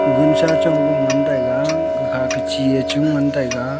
guncha chong ku ngan taiga gakhake chie chu ngan taiga.